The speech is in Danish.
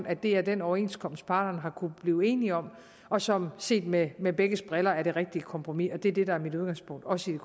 at det er den overenskomst parterne har kunnet blive enige om og som set med med begges briller er det rigtige kompromis det er det der er mit udgangspunkt også i